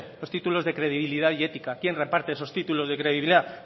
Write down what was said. los títulos de credibilidad y ética quién reparte esos títulos de credibilidad